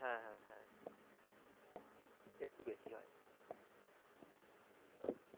হ্যা হ্যা হ্যা একটু বেশি হয়